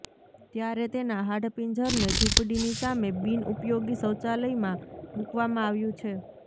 ત્યારે તેના હાડપિંજરને ઝૂંપડીની સામે બિન ઉપયોગી શૌચાલયમાં મૂકવામાં આવ્યું છે